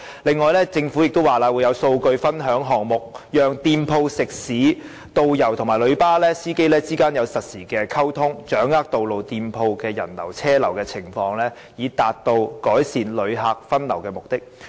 此外，政府也表示會有數據分享項目，讓店鋪、食肆、導遊及旅遊巴士司機之間可作實時溝通，掌握道路店鋪的人流和車流情況，以達到改善旅客分流的目的。